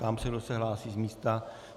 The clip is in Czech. Ptám se, kdo se hlásí z místa.